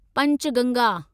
Panchganga